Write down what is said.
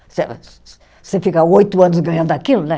Você fica oito anos ganhando aquilo, né?